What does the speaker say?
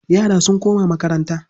Yara sun koma makaranta.